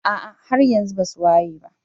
ah ah haryanxu basuwayeba.